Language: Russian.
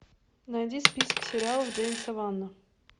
найди список сериалов джеймса вана